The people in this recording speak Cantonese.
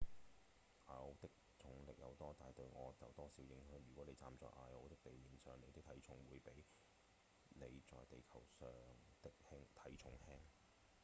艾奧的重力有多大對我有多少影響？如果您站在艾奧的地面上您的體重會比您在地球上的體重輕